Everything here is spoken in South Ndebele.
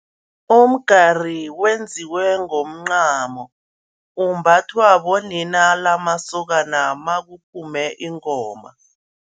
Umgari wenziwe ngomncamo, umbathwa bonina lamasokana makuphume ingoma.